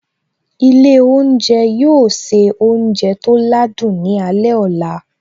Ilé oúnjẹ yóò se oúnjẹ tó ládùn ní alẹ́ ọ̀la